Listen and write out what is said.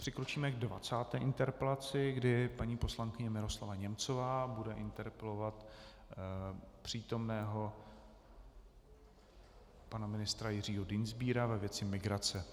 Přikročíme k 20. interpelaci, kdy paní poslankyně Miroslava Němcová bude interpelovat přítomného pana ministra Jiřího Dienstbiera ve věci migrace.